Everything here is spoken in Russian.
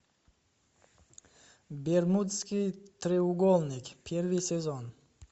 бермудский треугольник первый сезон